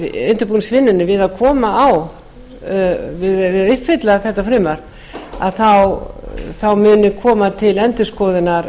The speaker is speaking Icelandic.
við að koma á og uppfylla þetta frumvarp þá muni koma til endurskoðunar